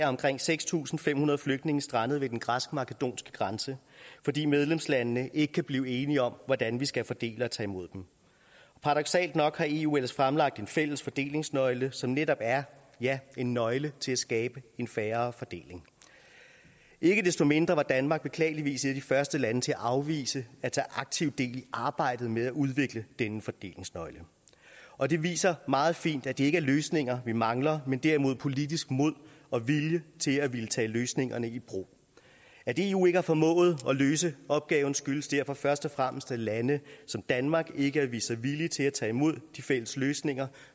omkring seks tusind fem hundrede flygtninge strandet ved den græsk makedonske grænse fordi medlemslandene ikke kan blive enige om hvordan vi skal fordele og tage imod dem paradoksalt nok har eu ellers fremlagt en fælles fordelingsnøgle som netop er ja en nøgle til at skabe en mere fair fordeling ikke desto mindre var danmark beklageligvis et af de første lande til at afvise at tage aktivt del i arbejdet med at udvikle denne fordelingsnøgle og det viser meget fint at det ikke er løsninger vi mangler men derimod politisk mod og vilje til at tage løsningerne i brug at eu ikke har formået at løse opgaven skyldes derfor først og fremmest at lande som danmark ikke har vist sig villige til at tage imod de fælles løsninger